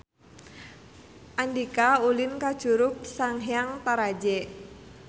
Andika ulin ka Curug Sanghyang Taraje